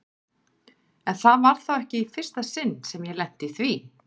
En það var þá ekki í fyrsta sinn sem ég lenti í því.